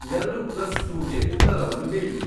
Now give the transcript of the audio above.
ಎರಡು ಪ್ಲಸ್ ಟುಗೆ ಉತ್ತರವನ್ನು ಹೇಳಿ